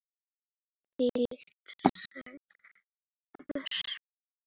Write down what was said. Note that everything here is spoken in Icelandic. Þvílík sorg.